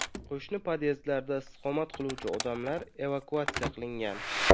Qo‘shni podyezdlarda istiqomat qiluvchi odamlar evakuatsiya qilingan.